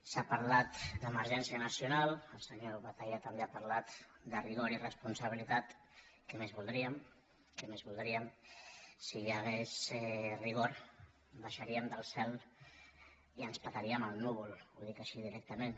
s’ha parlat d’emergència nacional el senyor batalla també ha parlat de rigor i responsabilitat què més voldríem què més voldríem si hi hagués rigor baixaríem del cel i ens petaríem el núvol ho dic així directament